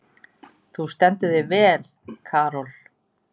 Þú stendur þig vel, Karol!